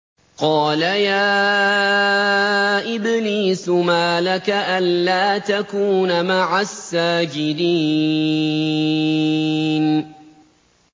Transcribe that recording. قَالَ يَا إِبْلِيسُ مَا لَكَ أَلَّا تَكُونَ مَعَ السَّاجِدِينَ